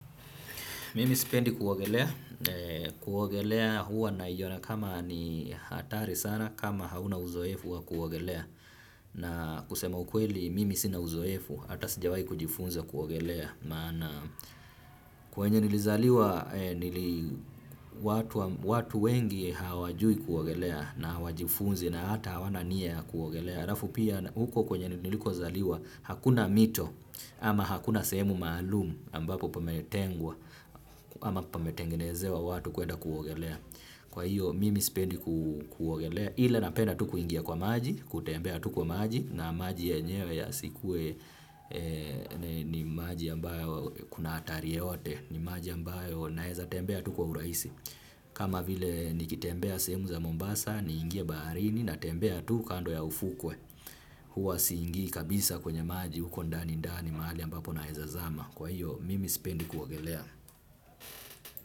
Mimi sipendi kuogelea kuogelea huwa naiona kama ni hatari sana kama hauna uzoefu wa kuogelea na kusema ukweli mimi sina uzoefu hata sijawai kujifunza kuogelea maana kwenye nilizaliwa nili watu wengi hawajui kuogelea na hawajifunzi na hata hawana nia ya kuogelea alafu pia huko kwenye niliko zaliwa hakuna mito ama hakuna sehemu maalum ambapo pametengwa ama pametengenezewa watu kwenda kuogelea. Kwa hiyo mimi spendi kuogelea ila napenda tu kuingia kwa maji kutembea tu kwa maji na maji yenyewe yasikue ni maji ambayo kuna hatari yoyote ni maji ambayo naeza tembea tu kwa urahisi. Kama vile nikitembea sehemu za Mombasa niingie baharini natembea tu kando ya ufukwe. Huwa siingi kabisa kwenye maji huko ndani ndani mahali ambapo naeza zama. Kwa hiyo mimi sipendi kwogelea.